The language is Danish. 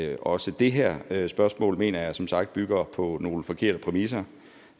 at også det her her spørgsmål mener jeg som sagt bygger på nogle forkerte præmisser